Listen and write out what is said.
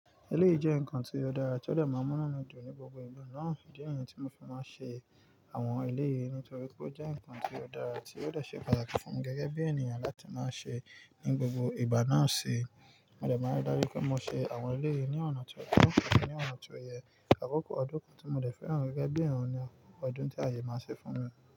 Eléyìí jẹ́ nǹkan tí ó dára tí ó dè máa múnú dún ní gbogbo ìgbà náà, ìdí niyen tí mo fi máa ń ṣe àwọn eléyìí nítorí pé ó jẹ́ ǹkan tí ó dára tí ó dè ṣe pàtàkì fúnmi gẹ́gẹ́ bí ènìyàn láti máa ṣe ní gbogbo ìgbà náà ṣe. Mo dẹ̀ máa ń darí pé mo ṣe àwọn eléyìí ní ọ̀nà tí ó tọ̀, ní ọ̀nà tí ó yẹ, àkókò ọdún kan tí mo dẹ̀ fẹ́ràn gẹ́gẹ́ bí i ọ̀ràn ni àkókò ọdún tí ààyè máa ṣe fún mi.